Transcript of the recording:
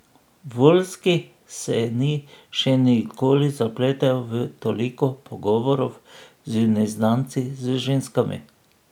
Voljski se ni še nikoli zapletel v toliko pogovorov z neznanci, z ženskami.